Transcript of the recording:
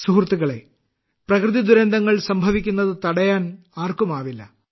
സുഹൃത്തുക്കളേ പ്രകൃതിദുരന്തങ്ങൾ സംഭവിയ്ക്കുന്നത് തടയാൻ ആർക്കും ആവില്ല